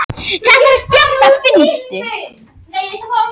Það er ómissandi að hafa hann